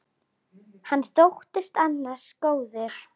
Hann þóttist ansi góður.